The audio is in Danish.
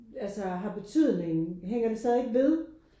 Altså har betydning hænger det stadigt ved?